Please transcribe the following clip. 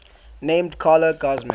named carla guzman